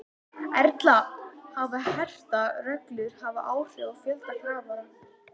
Erla, hafa hertar reglur haft áhrif á fjölda kafara?